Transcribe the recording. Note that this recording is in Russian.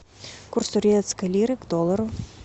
курс турецкой лиры к доллару